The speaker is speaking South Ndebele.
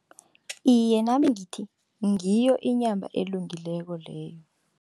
Iye, nami ngithi ngiyo inyama elungileko leyo.